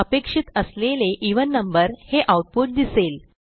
अपेक्षित असलेले even number हे आऊटपुट दिसेल